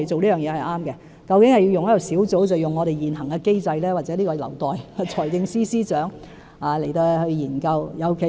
究竟應該成立小組還是使用現行機制，這個問題或許留待財政司司長研究。